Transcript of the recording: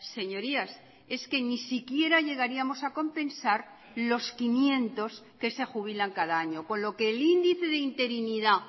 señorías es que ni siquiera llegaríamos a compensar los quinientos que se jubilan cada año con lo que el índice de interinidad